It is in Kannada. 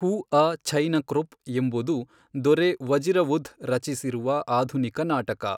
ಹುಅ ಛೈ ನಕ್ರೊಪ್ ಎಂಬುದು ದೊರೆ ವಜಿರವುಧ್ ರಚಿಸಿರುವ ಆಧುನಿಕ ನಾಟಕ.